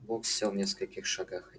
бог сел в нескольких шагах